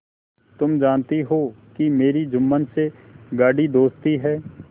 तुम जानती हो कि मेरी जुम्मन से गाढ़ी दोस्ती है